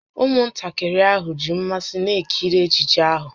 Ụmụntakịrị ahụ ji mmasị na-ekiri ejije ahụ